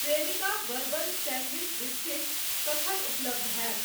Cremica bourbon sandwich biscuits कखन उपलब्ध हैत?